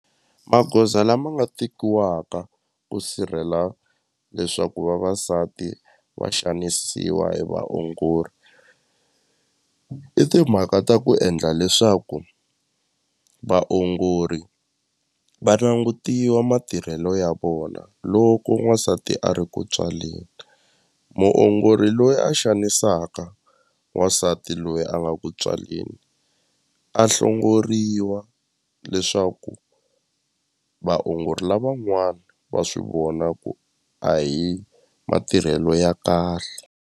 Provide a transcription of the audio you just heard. Magoza lama nga tekiwaka ku sirhela leswaku vavasati va xanisiwa hi vaongori i timhaka ta ku endla leswaku vaongori va langutiwa matirhelo ya vona loko n'wansati a ri ku tswaleni muongori loyi a xanisaka n'wansati loyi a nga ku tswaleni a hlongoriwa leswaku vaongori lavan'wana va swi vona ku a hi matirhelo ya kahle.